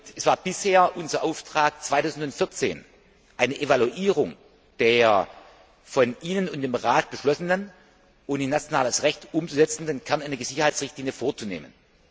Es war bisher unser Auftrag, 2014 eine Evaluierung der von Ihnen und vom Rat beschlossenen und in nationales Recht umzusetzenden Kernenergiesicherheitsrichtlinie vorzunehmen.